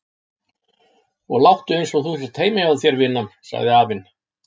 Og láttu einsog þú sért heima hjá þér vinan, segir afinn.